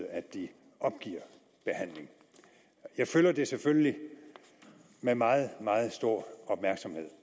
at de opgiver behandling jeg følger det selvfølgelig med meget meget stor opmærksomhed